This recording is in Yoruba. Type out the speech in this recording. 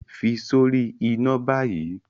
fi sori ina bayi!